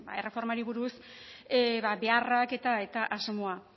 erreformari buruz beharrak eta asmoa